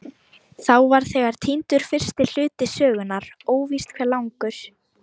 Þá var þegar týndur fyrsti hluti sögunnar, óvíst hve langur.